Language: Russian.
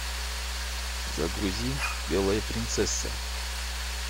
загрузи белая принцесса